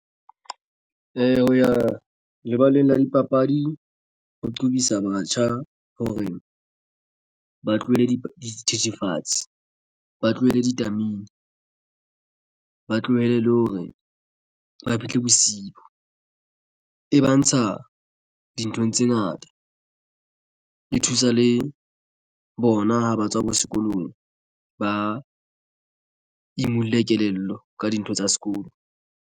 Eya, ho ya lebaleng la dipapadi ho qobisa batjha hore ba tlohele dithethefatsi ba tlohele ditamene ba tlohele le hore ba fihle bosibu e ba ntsha dinthong tse ngata e thusa le bona ha ba tswa bo sekolong ba imulle kelello ka dintho tsa sekolo.